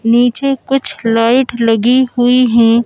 नीचे कुछ लाइट लगी हुई है।